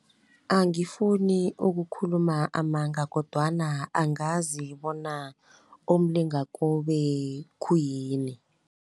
Angifuni ukukhuluma amanga kodwana angazi bona umlingakobe khuyini.